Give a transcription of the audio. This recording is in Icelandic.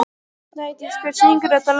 Snædís, hver syngur þetta lag?